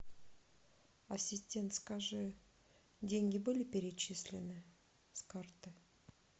ассистент скажи деньги были перечислены с карты